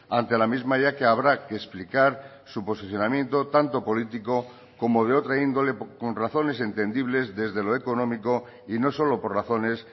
ante la misma ya que habrá que explicar su posicionamiento tanto político como de otra índole con razones entendibles desde lo económico y no solo por razones